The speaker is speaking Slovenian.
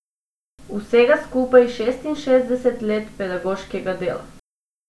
Vsega skupaj šestinšestdeset let pedagoškega dela!